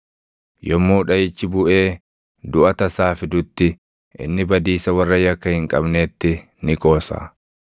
Yommuu dhaʼichi buʼee duʼa tasaa fidutti, inni badiisa warra yakka hin qabneetti ni qoosa.